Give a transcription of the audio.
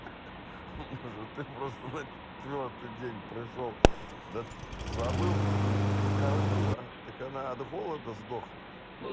ха-ха может ты просто на четвёртый день пришёл да забыл про неё не покормил а так она от голода сдохла